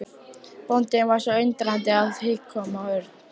Bóndinn var svo undrandi að hik kom á Örn.